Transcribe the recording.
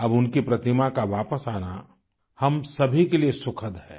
अब उनकी प्रतिमा का वापस आना हम सभी के लिए सुखद है